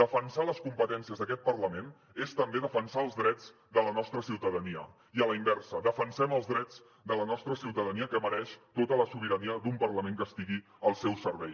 defensar les competències d’aquest parlament és també defensar els drets de la nostra ciutadania i a la inversa defensem els drets de la nostra ciutadania que mereix tota la sobirania d’un parlament que estigui al seu servei